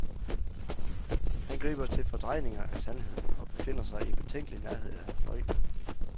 Han griber til fordrejninger af sandheden og befinder sig i betænkelig nærhed af løgnen.